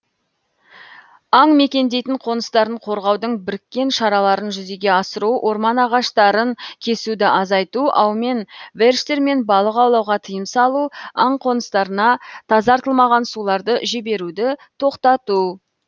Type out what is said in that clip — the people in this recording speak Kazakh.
аң мекендейтін қоныстарын қорғаудың біріккен шараларын жүзеге асыру орман ағаштарын кесуді азайту аумен верштермен балық аулауға тыйым салу аң қоныстарына тазартылмаған суларды жіберуді тоқтату